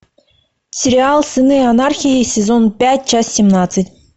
сериал сыны анархии сезон пять часть семнадцать